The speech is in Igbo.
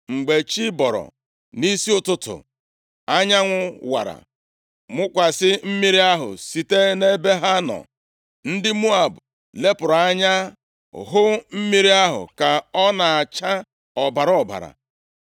Mgbe chi bọrọ nʼisi ụtụtụ, anyanwụ wara mụkwasị mmiri ahụ. Site nʼebe ha nọ, ndị Moab lepụrụ anya hụ mmiri ahụ ka ọ na-acha ọbara ọbara.